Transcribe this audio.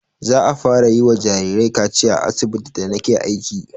Za'a fara yi wa jarirai kaciya a asibitin da na ke aiki